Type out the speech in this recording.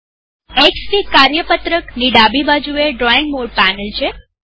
Xfig કાર્યપત્રકવર્કશીટની ડાબી બાજુએ ડ્રોઈંગ મોડ પેનલ છે